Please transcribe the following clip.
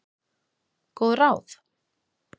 Góð ráð?